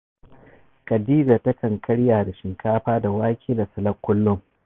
Khadija takan karya da shinkafa da wake da salak kullum